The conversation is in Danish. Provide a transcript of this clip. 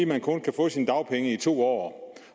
man kun kan få sine dagpenge to år